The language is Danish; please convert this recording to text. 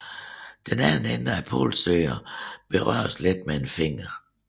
Den anden ende af polsøgeren berøres let med en finger